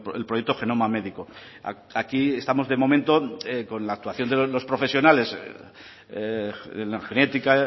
el proyecto genoma médico aquí estamos de momento con la actuación de los profesionales en la genética